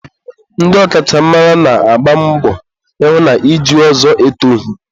ndị ọkachamara na-agba mbọ ịhụ na iju ọzọ etoghi.